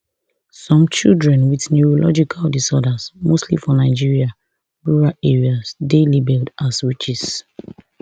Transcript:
some children wit neurological disorders mostly for nigeria rural areas dey labelled as witches